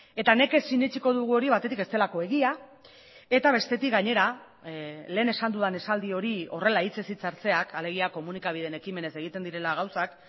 eta nekez sinetsiko dugu hori batetik ez delako egia eta bestetik gainera lehen esan dudan esaldi hori horrela hitzez hitz hartzeak alegia komunikabideen ekimenez egiten direla gauzak